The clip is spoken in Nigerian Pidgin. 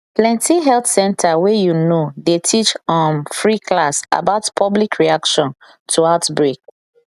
plenty health center wey you know dey teach um free class about public reaction to outbreak